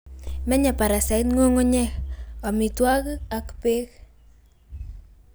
menye parasite ngungunyek, omitwogik ak beek